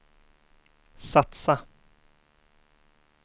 satsa